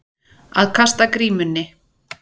Að kasta grímunni